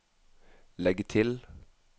legg til